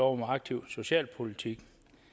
om aktiv socialpolitik